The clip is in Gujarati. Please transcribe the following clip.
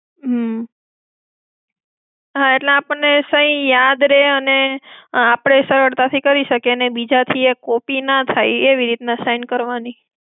હમ્મ. હા એટલે આપણને સહી યાદ રેય અને આપણે સરળતા થી કરી શકીએ અને બીજા થી એ કોક થી ના થાય એવી રીતના sign કરવાની.